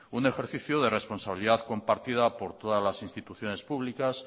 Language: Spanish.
un ejercicio de responsabilidad compartida por todas las instituciones públicas